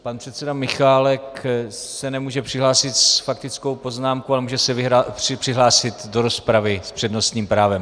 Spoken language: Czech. Pan předseda Michálek se nemůže přihlásit s faktickou poznámkou, ale může se přihlásit do rozpravy s přednostním právem.